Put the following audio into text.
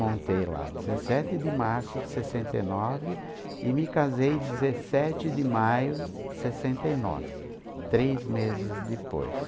Montei lá dezessete de março de sessenta e nove e me casei dezessete de maio de sessenta e nove, três meses depois.